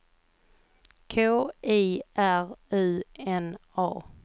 K I R U N A